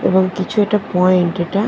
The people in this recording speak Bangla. এবং কিছু এটা পয়েন্ট এটা ।